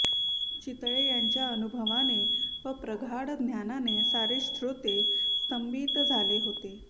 चितळे यांच्या अनुभवाने व प्रगाढ ज्ञानाने सारे श्रोते स्तंभित झाले होते